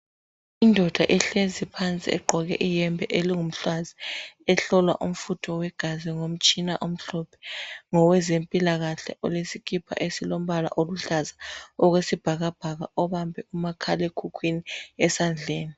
Indoda ehlezi phansi egqoke iyembe elingumhlwanzi ehlolwa umfutho wegazi ngomtshina omhlophe ngowezempilakahle owesikipa esilombala oluhlaza okwesibhakabhaka obambe umakhalekhukhwini esandleni.